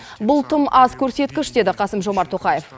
бұл тым аз көрсеткіш деді қасым жомарт тоқаев